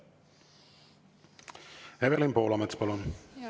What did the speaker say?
Evelin Poolamets, palun!